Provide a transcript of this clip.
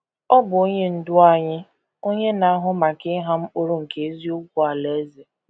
Ọ bụ Onye Ndú anyị, onye na - ahụ maka ịgha mkpụrụ nke eziokwu Alaeze.